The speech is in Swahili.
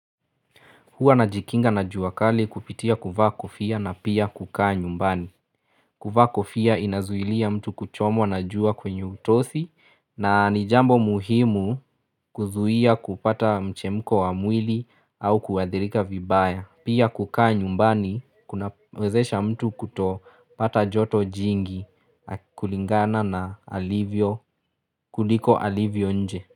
Hua najikinga na jua kali kupitia kuvaa kofia na pia kukaa nyumbani. Kuvaa kofia inazuilia mtu kuchomwa na jua kwenye utosi na ni jambo muhimu kuzuia kupata mchemko wa mwili au kuadhirika vibaya. Pia kukaa nyumbani kuna wezesha mtu kuto pata joto jingi kulingana na alivyo kuliko alivyo nje.